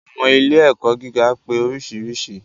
Àwọn ilé ẹ̀kọ́ gíga pé oríṣiríṣi.